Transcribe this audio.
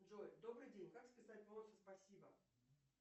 джой добрый день как списать бонусы спасибо